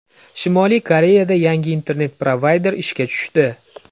Shimoliy Koreyada yangi internet-provayder ishga tushdi.